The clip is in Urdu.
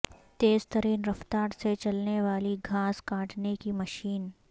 تیز ترین رفتار سے چلنے والی گھاس کاٹنے کی مشین